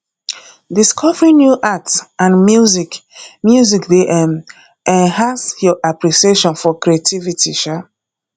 discovering new art and music music dey um enhance your appreciation for creativity um